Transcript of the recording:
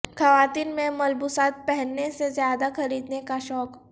خواتین میں ملبوسات پہننے سے زیادہ خریدنے کا شوق